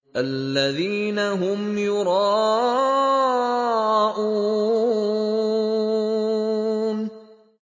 الَّذِينَ هُمْ يُرَاءُونَ